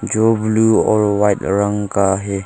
जो ब्ल्यू और व्हाइट रंग का है।